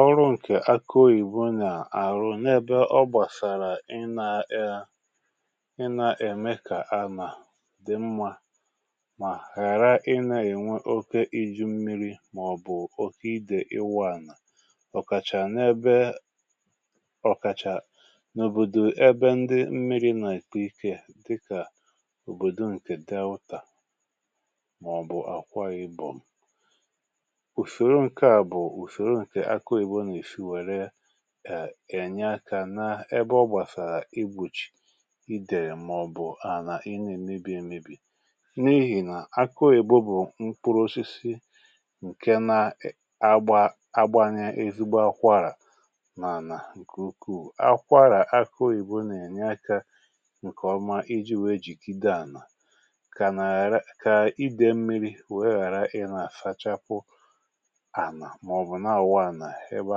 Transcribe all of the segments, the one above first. ọrụ ǹkè akịoyibo nà-àrụ n’ebe ọ gbàsàrà ị na-e ị na-ème kà a nà dị mmȧ mà ghàra ị na-ènwe oke iji̇ mmiri̇ màọ̀bụ̀ oke idè iwȧ ànà ọkàchà n’ebe ọkàchà n’òbòdò ebe ndị mmiri̇ nà-èkpe ikė dịkà òbòdò ǹkè dàa ụtà màọ̀bụ̀ àkwa ibòm ènyere kà àna ebe ọ gbàsàrà igbòchì idè màọbụ̀ ànà ị nà-èmebì èmebì n’ihì nà akȧ ìbụ̇ bụ̀ mkpụrụ osisi ǹke na-agba agbȧnyė ezigbo akwọarà mànà ǹkè ukwuu akwọarà akụọ ìbụ̀ nà ènyere kà ǹkèọma iji̇ weè jìkide ànà kà idè mmiri̇ wee ghàra ị nà àsachapụ ǹhaà nà-àwụwa nà ebe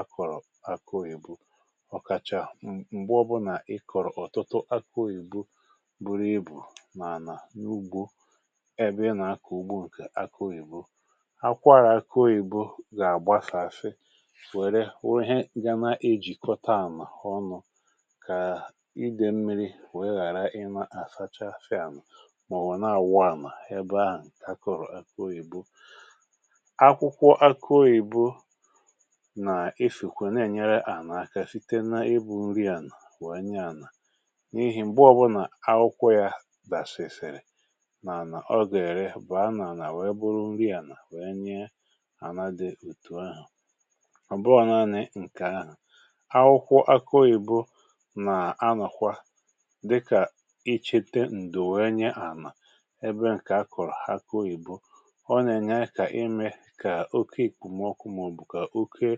akọ̀rọ̀ akụ oyìbu ọ̀kàchà m̀gbe ọbụnà ikọ̀rọ̀ ọ̀tụtụ akụ oyìbu buru ibù n’ànà n’ugbu ẹbẹ ị nà akọ̀ ugbu ǹkẹ̀ akịoyibo akwàrà akụ oyìbu gà-àgbasààsị wère wèe ihe gana ejìkọta mà ọ nụ̇ kà idė mmiri wèe ghàra ịmȧ àsacha asị ànụ̀ mà ọ̀ wụ̀ nà àwụwa àmà ẹbẹ ahụ̀ ǹkẹ̀ akụrụ akụ oyìbu nà-ènyere à nà-aka site nà ịbụ̇ nri ànà n’wèe nye ànà n’ihi m̀gbe ọbụnà akwụkwọ yȧ dàsì èsèrè nà ànà ọ gèèrè bụ̀ a nà-ànà wèe bụrụ nri ànà wèe nye àna dị ùtù ahụ̀ ọ̀ bụọ na-anị ǹkè ahụ̀ akwụkwọ akȧ ìbù nà-anọ̀kwa dịkà ichete ǹdù wèe nye ànà ebe ǹkè a kọ̀rọ̀ akụ ìbù ọ nà-ènye ayị kà imė kà oke ìkpùmè okwu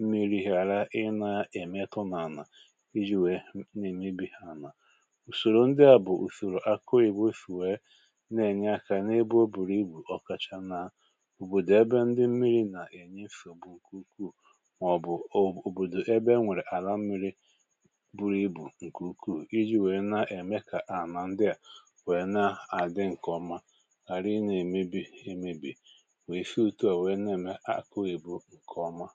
mmiri̇ ghàra ị na-èmekọ n’ànà iji wèe na-èmebi ha ànà ùsòrò ndị à bụ̀ ùsòrò akọị̀be sì wee na-ènye akȧ n’ebe o bùrù ibù ọkacha na òbòdò ebe ndị mmiri̇ nà-ènye fògbu ukwuu mà ọ̀ bụ̀ òbòdò ebe e nwèrè àla mmiri̇ buru ibù ǹkè ukwuù iji̇ wèe na-ème ha ànà ndị à nwèe na-àdị ǹkèọma gara ị na-èmebi emebi wèe si ụtọ wèe na-ème akọị̀be ǹkè ọma